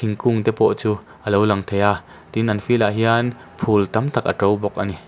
kung te pawh chu a lo lang thei a tin an field ah hian phul tam tak a ṭo bawk a ni.